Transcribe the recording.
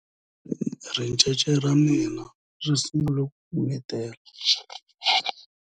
ricece ra mina ri sungule ku n'wayitela